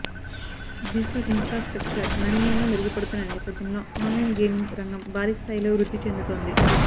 digital infrastructure గణనీయంగా మెరుగుపడుతున్న నేపథ్యంలో ఆన్లైన్ గేమింగ్ రంగం భారీ స్థాయిలో వృద్ధి చెందుతోంది